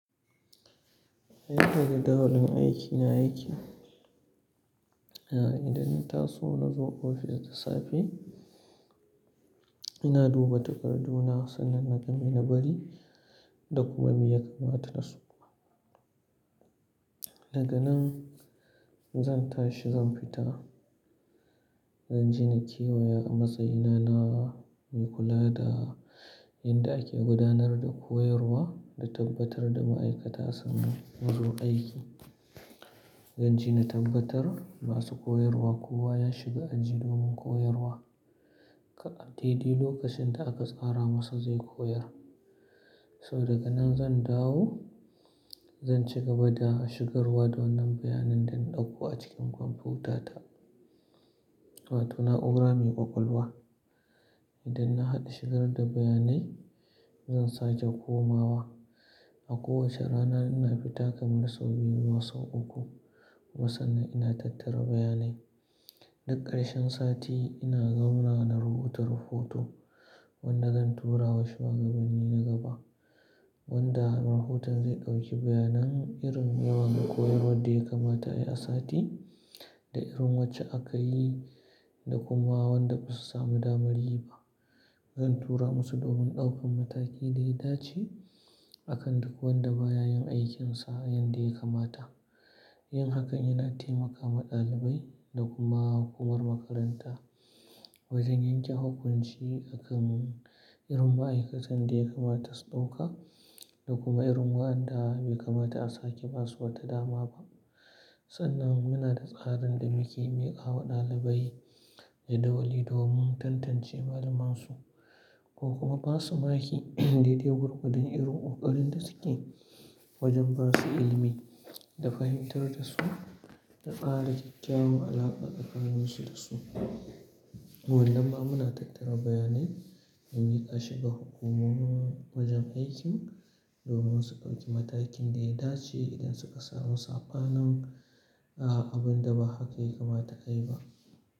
Yanda jadawalin aiki na yake. Idan na taso nazo ofis da safe, ina duba takardu na sannan na ga mai na bari da kuma me ya kamata dasu. Daga nan zan tashi zan fita, zan je na kewaya a matsayi na na mai kula da inda ake gudanar da koyarwa da tabbatar da ma'aikata sun zo aiki. Zan je na tabbatar masu koyarwa kowa ya shiga aji domin koyarwa. Kar a dai dai lokacin da aka tsara masa zai koyar. So daga nan zan dawo, zan ci gaba da shigarwa da wannan bayanin da na ɗauko a cikin kwamfutata. Ta na'ura mai ƙwaƙwalwa. Idan na haɗa shigar da bayanai, zan sake komawa. A kowacce rana ina fita kamar sau biyu zuwa sau uku. Kuma sannan ina tattara bayanai. Duk ƙarshen sati ina zaunawa na rubuta rahoto wanda zan tura wa shugabanni na gaba wanda rahoton zai ɗauki bayanan irin yawan koyarwar da ya kamata a yi a sati da irin wacce aka yi da kuma wanda basu samu damar yi ba. Zan tura musu domin ɗaukan mataki da ya dace a kan duk wanda ba ya yin aikinsa yanda ya kamata. Yin hakan yana taimakawa ɗalibai da kuma hukumar makaranta wajen yanke hukunci akan irin ma'aikatan da ya kamata su ɗauka da kuma irin wanda bai kamata a saki basu wata dama ba. Sannan muna da tsarin da muke miƙawa ɗalibai jadawali domin tantance malamansu ko kuma basu makhi daidai gwargwadon irin ƙoƙarin da suke wajen ba su ilimi da fahimtar da su da ƙara kyakkyawan alaƙa tsakanin su da su. Wannan ma muna tattara bayanai don miƙa shi ga hukumomi wajen aiki domin su ɗauki matakin da ya dace idan suka samu sabanin, a abun da ba haka ya kamata a yi ba.